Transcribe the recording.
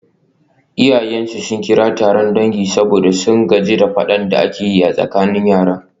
Iyayensu sun kira taron dangi saboda sun gaji da fadan da ake yi a tsakanin yaran.